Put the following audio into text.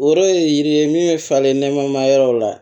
Yɔrɔ ye yiri ye min bɛ falen nɛma yɔrɔ la